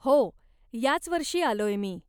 हो, याच वर्षी आलोय मी.